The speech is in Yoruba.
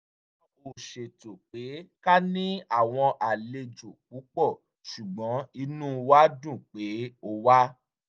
a ò ṣètò pé ká ní àwọn àlejò púpọ̀ ṣùgbọ́n inú wa dùn pé o wá